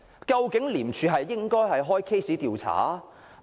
究竟廉政公署應否立案調查呢？